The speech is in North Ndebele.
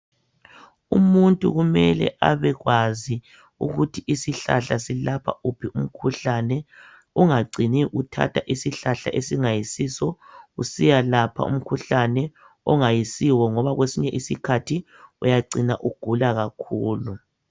Umuntu kumele abekwazi ukuthi isihlahla silapha uphi umkhuhlane, ungacini uthatha isihlahla esingayisiso usiyalapha umkhuhlane ongayisiwo ngoba kwesinye isikhathi uyacina ugula kakhulu.